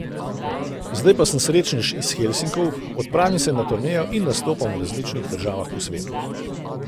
Zdaj pa sem srečnež iz Helsinkov, odpravim se na turnejo in nastopam v različnih državah po svetu.